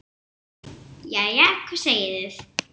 Jæja, hvað segið þið?